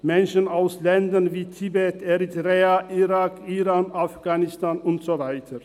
Menschen aus Ländern wie Tibet, Eritrea, Irak, Iran, Afghanistan und so weiter.